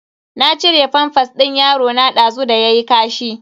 Na cire famfas din yarona dazu da yayi kashi.